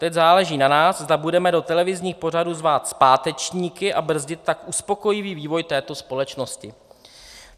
Teď záleží na nás, zda budeme do televizních pořadů zvát zpátečníky, a brzdit tak uspokojivý vývoj této společnosti."